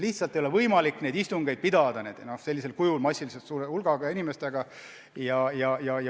Lihtsalt ei ole võimalik neid istungeid suure hulga inimestega niimoodi pidada.